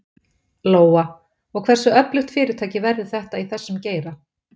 Lóa: Og hversu öflugt fyrirtæki verður þetta í þessum geira?